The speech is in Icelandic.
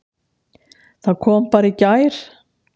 Það kom bara í gær!